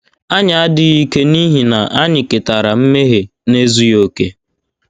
Anyị adịghị ike n’ihi na anyị ketara mmehie na ezughị okè.